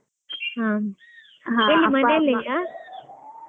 ಹಾ ಹಾ ಅಪ್ಪ ಅಮ್ಮ .